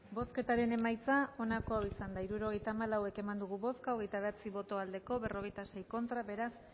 bozketaren emaitza onako izan da hirurogeita hamalau eman dugu bozka hogeita bederatzi boto aldekoa cuarenta y seis contra beraz